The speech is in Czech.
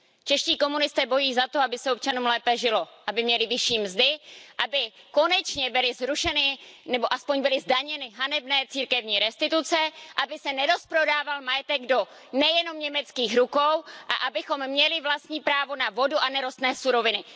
Čeští komunisté bojují za to, aby se občanům lépe žilo, aby měli vyšší mzdy, aby konečně byly zrušeny nebo alespoň byly zdaněny hanebné církevní restituce, aby se nerozprodával majetek do nejenom německých rukou a abychom měli vlastní právo na vodu a nerostné suroviny.